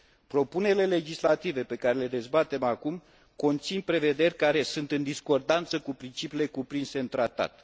Propunerile legislative pe care le dezbatem acum conțin prevederi care sunt în discordanță cu principiile cuprinse în Tratat.